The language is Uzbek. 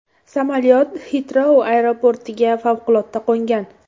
Samolyot Xitrou aeroportiga favqulodda qo‘ngan.